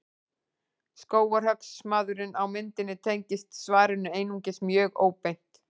Skógarhöggsmaðurinn á myndinni tengist svarinu einungis mjög óbeint.